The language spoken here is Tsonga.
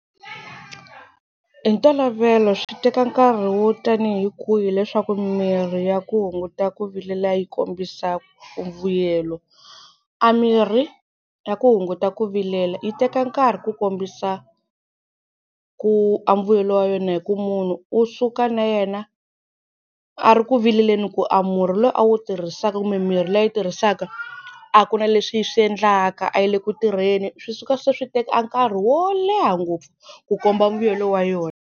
Hi ntolovelo swi teka nkarhi wo tani hi kwihi leswaku mirhi ya ku hunguta ku vilela yi kombisa vuyelo? A mirhi ya ku hunguta ku vilela yi teka nkarhi ku kombisa a mbuyelo wa yona hi ku munhu u suka na yena a ri ku vileleni ku a murhi lowu a wu tirhisaka kumbe mimirhi leyi tirhisaka a ku na leswi yi swi endlaka, a yi le ku tirheni. Swi suka se swi teka nkarhi wo leha ngopfu ku komba mbuyelo wa yona.